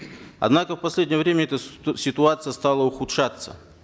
однако в последнее время эта ситуация стала ухудшаться